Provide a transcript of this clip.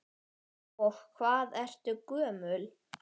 Og hvað ertu gömul?